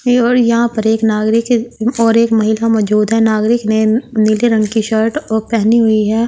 और यहाँ पर एक नागरिक और एक महिला मजूद है नागरिक ने नीले रंग की शर्ट पहनी हुई है।